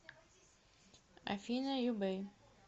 афина юбэй